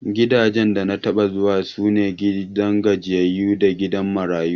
Gidajen da na taɓa zuwa, su ne gidan gajiyayyu da gidan marayu.